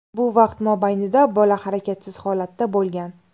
Bu vaqt mobaynida bola harakatsiz holatda bo‘lgan.